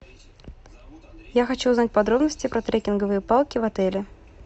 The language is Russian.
я хочу узнать подробности про трекинговые палки в отеле